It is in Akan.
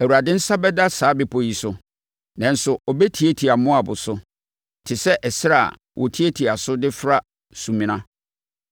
Awurade nsa bɛda saa bepɔ yi so; nanso ɔbɛtiatia Moab so te sɛ ɛserɛ a wɔtiatia so de fra sumena.